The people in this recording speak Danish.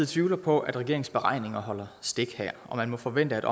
tvivler på at regeringens beregninger holder stik her og man må forvente at